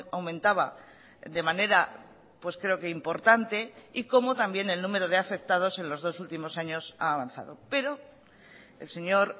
aumentaba de manera pues creo que importante y cómo también el número de afectados en los dos últimos años ha avanzado pero el señor